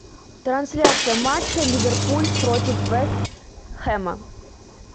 трансляция матча ливерпуль против вест хэма